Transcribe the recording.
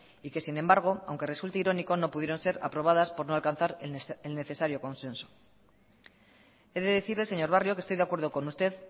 y que sin embargo aunque resulte irónico no pudieron ser aprobadas por no alcanzar el necesario consenso he de decirle señor barrio que estoy de acuerdo con usted